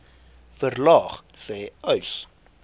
verlaag sê uys